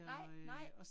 Nej nej